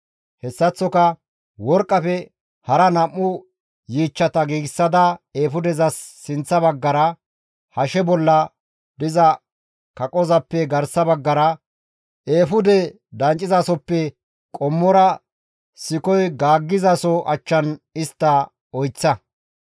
Hessaththoka worqqafe hara nam7u yiichchata giigsada eefudezas sinththa baggara, hashe bolla diza kaqozappe garsa baggara, eefude danccizasoppe qommora sikoy gaaggizaso achchan istta oyththa.